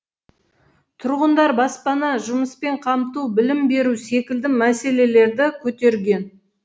тұрғындар баспана жұмыспен қамту білім беру секілді мәселелерді көтерген